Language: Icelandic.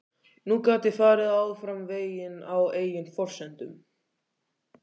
Nú gat ég farið áfram veginn á eigin forsendum.